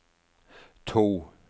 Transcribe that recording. to